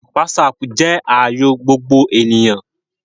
Whatsapp jẹ́ ààyò gbogbo ènìyàn